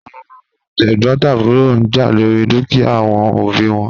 Awọn tegbotaburo n ja lori dukia awọn obi wọn